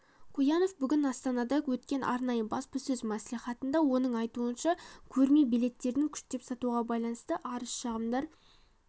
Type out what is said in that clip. куянов бүгін астанада өткен арнайы баспасөз мәслиіатында оның айтуынша көрме билеттерін күштеп сатуға байланысты арыз-шағымдар